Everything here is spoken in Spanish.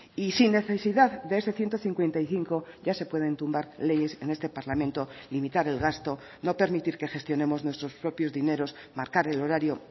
y sin necesidad de ese ciento cincuenta y cinco ya se pueden tumbar leyes en este parlamento limitar el gasto no permitir que gestionemos nuestros propios dineros marcar el horario